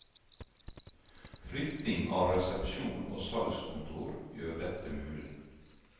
Flytting av resepsjon og salgskontor gjør dette mulig.